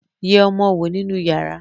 yé ọmọ owó nínú yàrá.